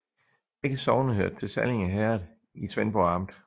Begge sogne hørte til Sallinge Herred i Svendborg Amt